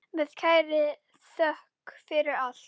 Með kærri þökk fyrir allt.